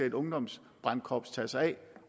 et ungdomsbrandkorps skal tage sig af